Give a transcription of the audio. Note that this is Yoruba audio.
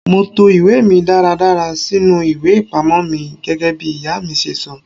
Mo to ìwé mi dáradára sínú ìwé ìpamọ́ mi gẹ́gẹ́bí ìyá mi ṣe sọ.